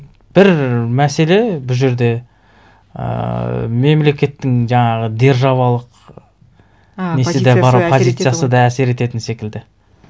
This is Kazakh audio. бір мәселе бұл жерде ііі мемлекеттің жаңағы державалық а позициясы позициясы да әсер ететін секілді